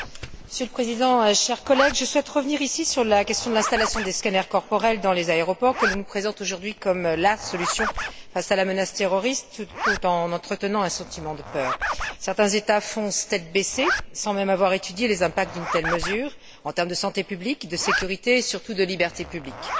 Monsieur le Président, chers collègues, je souhaite revenir ici sur la question de l'installation des scanners corporels dans les aéroports, que l'on nous présente aujourd'hui comme la solution face à la menace terroriste, tout en entretenant un sentiment de peur. Certains États foncent tête baissée, sans même avoir étudié les impacts d'une telle mesure, en termes de santé publique, de sécurité et, surtout, de liberté publique.